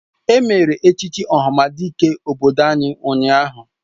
Emere echichi ohamadike obodo anyị ụnyahụ